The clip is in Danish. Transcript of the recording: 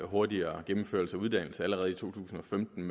hurtigere gennemført uddannelse allerede i to tusind og femten